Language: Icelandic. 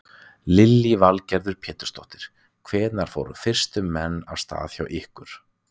Lillý Valgerður Pétursdóttir: Hvenær fóru fyrstu menn af stað hjá ykkur?